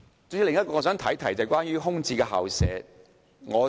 主席，另一個問題與空置校舍有關。